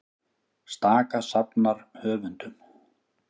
Staka safnar höfundum